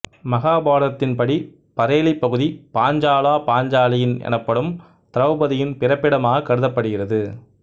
மகாபாரதத்தின் படி பரேலி பகுதி பாஞ்சாலாபாஞ்சாலியின் எனப்படும் திரௌபதியின் பிறப்பிடமாக கருதப்படுகிறது